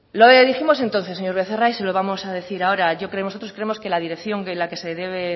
lo dijimos entonces señor becerra y se lo vamos a decir ahora nosotros creemos que la dirección en la que se debe